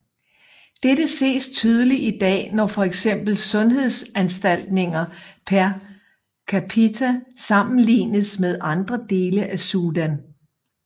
Dette ses tydeligt i dag når fx sundhedsforanstaltninger per capita sammenlignes med andre dele af Sudan